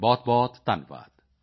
ਬਹੁਤਬਹੁਤ ਧੰਨਵਾਦ